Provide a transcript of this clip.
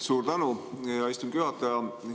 Suur tänu, hea istungi juhataja!